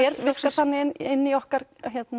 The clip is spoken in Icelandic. virkar þannig inni í okkar